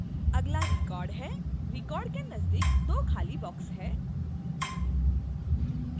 अगला record है record के नजदीक दो खाली boxes हैं